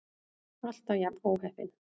Alltaf jafn óheppin!